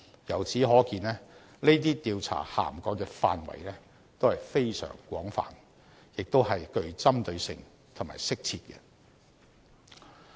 由此可見，這些調查涵蓋的範圍都是非常廣泛，亦是很具針對性和適切的。